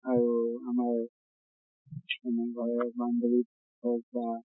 আৰু আমাৰ